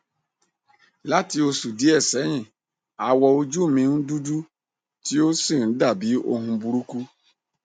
lati oṣù diẹ̀ sẹ́yin awọn oju mi n dudu ti o si n dabi ohun buruku